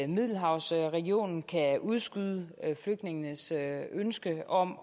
middelhavsregionen kan udskyde flygtningenes ønske om